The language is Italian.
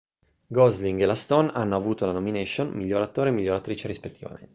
gosling e la stone hanno avuto la nomination miglior attore e miglior attrice rispettivamente